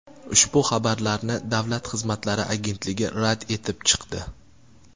Ushbu xabarlarni Davlat xizmatlari agentligi rad etib chiqdi.